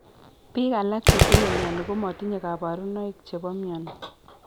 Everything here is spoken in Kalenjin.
Biik alak chetinye myoni komotinye kabarunoik chebo myoni